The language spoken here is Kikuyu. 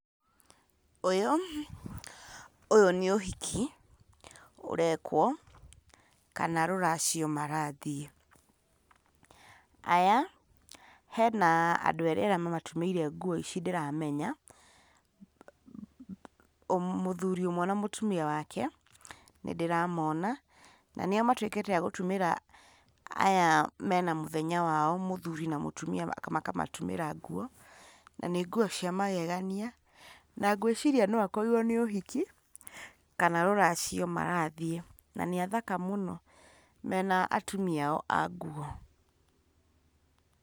Ũyũ, ũyũ nĩ ũhiki, ũrekwo, kana rũracio marathiĩ. Aya, hena andũ erĩ mamatumĩire nguo ici ndĩramenya, mũthuri ũmwe na mũtumia wake nĩ ndĩramona, na nĩo matuĩkĩte a gũtumĩra aya mena mũthenya wao mũthuri na mũtumia makamatumĩra nguo, na nĩnguo cia magegania, na ngwĩciria no akororwo nĩ ũhiki, kana rũracio marathiĩ. Na nĩ athaka mũno mena atumia ao anguo.